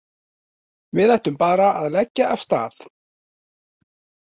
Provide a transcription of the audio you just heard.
Við ættum bara að leggja af stað